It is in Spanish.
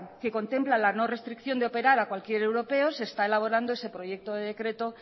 que contempla la no restricción de operar a cualquier europea se está elaborando ese proyecto de decreto